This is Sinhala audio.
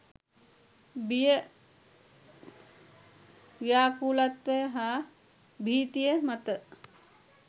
බිය ව්‍යාකූලත්වය හා භීතිය මත